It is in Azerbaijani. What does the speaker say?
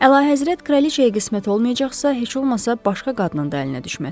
Əlahəzrət kraliçaya qismət olmayacaqsa, heç olmasa başqa qadının da əlinə düşməsin.